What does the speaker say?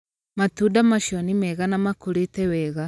Matunda macio nĩ mega na makũrĩte wega.